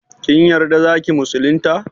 Kin yarda zaki musulunta?